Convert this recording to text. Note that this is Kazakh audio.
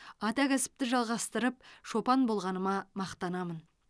ата кәсіпті жалғастырып шопан болғаныма мақтанамын